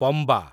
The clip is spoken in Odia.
ପମ୍ବା